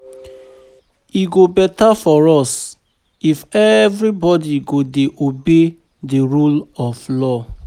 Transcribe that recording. E go beta for us if everybody go dey obey the rule of law